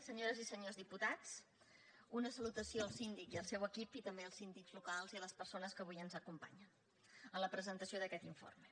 senyores i senyors diputats una salutació al síndic i al seu equip i també als síndics locals i a les persones que avui ens acompanyen en la presentació d’aquest informe